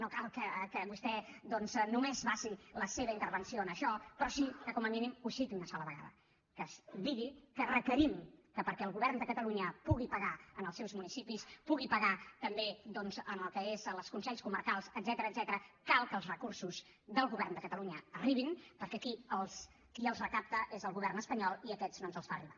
no cal que vostè només basi la seva intervenció en això però sí que com a mínim ho citi una sola vegada que es digui que requerim que perquè el govern de catalunya pugui pagar als seus municipis pugui pagar també al que són els consells comarcals etcètera cal que els recursos del govern de catalunya arribin perquè aquí qui els recapta és el govern espanyol i aquests no ens els fa arribar